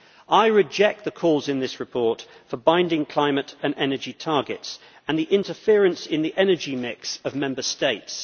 I reject the calls in this report for binding climate and energy targets and interference in the energy mix of Member States.